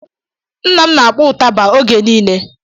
Nna m na-akpọ ụtaba oge nile